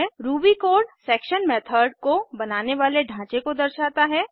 Ruby code section method को बनाने वाले ढाँचे को दर्शाता है